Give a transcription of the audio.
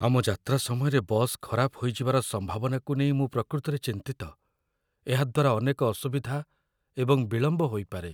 ଆମ ଯାତ୍ରା ସମୟରେ ବସ୍ ଖରାପ ହୋଇଯିବାର ସମ୍ଭାବନାକୁ ନେଇ ମୁଁ ପ୍ରକୃତରେ ଚିନ୍ତିତ, ଏହାଦ୍ୱାରା ଅନେକ ଅସୁବିଧା ଏବଂ ବିଳମ୍ବ ହୋଇପାରେ।